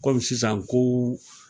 Komi sisan kow